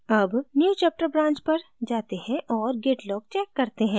अब newchapter branch पर जाते हैं और git log check करते हैं